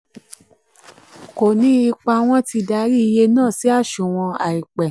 kò ní ipa wọ́n ti darí iye náà sí aṣunwon àìpẹ̀.